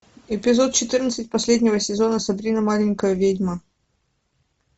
эпизод четырнадцать последнего сезона сабрина маленькая ведьма